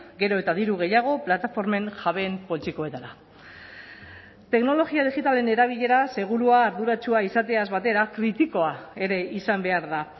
gero eta diru gehiago plataformen jabeen poltsikoetara teknologia digitalen erabilera segurua arduratsua izateaz batera kritikoa ere izan behar da